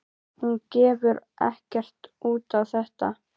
Hún gefur ekkert út á þetta.